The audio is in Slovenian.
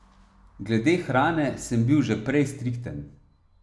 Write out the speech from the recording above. Glede hrane sem bil že prej strikten.